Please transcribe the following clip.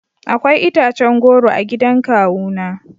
Akwai itacen goro a gidan kawuna